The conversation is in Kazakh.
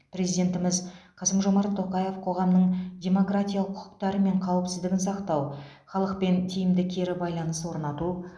президентіміз қасым жомарт тоқаев қоғамның демократиялық құқықтары мен қауіпсіздігін сақтау халықпен тиімді кері байланыс орнату